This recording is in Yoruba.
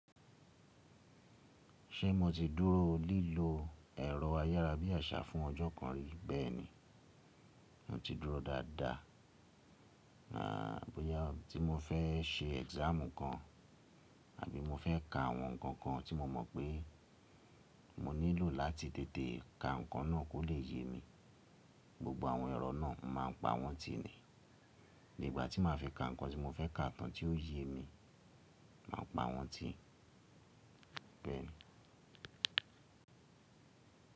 Ṣé mo ti dúró lílo ẹ̀rọ ayárabíàṣá fún ọjọ́ kan rí? Bẹ́ẹ̀ni. Mo ti dúró dáadáa, à bóyá tí mo fẹ́ se exam kan àbí mo fẹ́ ka àwọn ǹkan kan tí mo mọ̀ pé mo nílò láti tètè ka ǹkan náà kó lè yé mi, gbogbo àwọn ẹ̀rọ náà a má a pa wọ́n tì í ni. Igbà tí màá fi ka ǹkan tí mo fẹ́ ka tán tí ó yé mi, màá pa wọ́n tì í bẹ́ẹ̀ni.